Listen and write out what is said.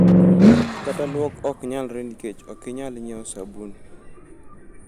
Kata luok ok nyalre nikech ok inyal nyiewo sabun."